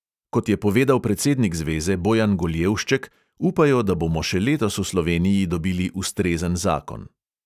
Kot je povedal predsednik zveze bojan goljevšček, upajo, da bomo še letos v sloveniji dobili ustrezen zakon.